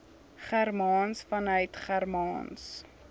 germaans vanuit germaans